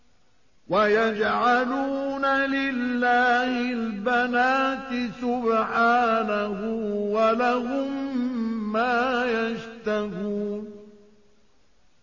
وَيَجْعَلُونَ لِلَّهِ الْبَنَاتِ سُبْحَانَهُ ۙ وَلَهُم مَّا يَشْتَهُونَ